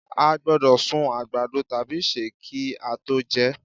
a gbódò sún àgbàdo tabi se ki a to jẹ